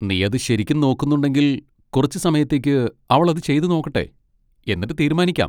നീ അത് ശരിക്കും നോക്കുന്നുണ്ടെങ്കിൽ കുറച്ച് സമയത്തേക്ക് അവൾ അത് ചെയ്ത് നോക്കട്ടെ, എന്നിട്ട് തീരുമാനിക്കാം.